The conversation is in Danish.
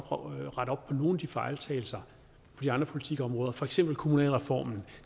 rette op på nogle af de fejltagelser på de andre politikområder for eksempel kommunalreformen